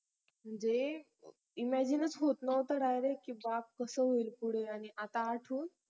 हे imagine च होत नव्हत DIRECT की बाप कसं होईल पुढ अजून